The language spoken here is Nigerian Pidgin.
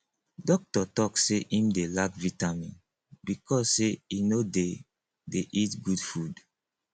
doctor talk say im dey lack vitamin because say he no dey dey eat good food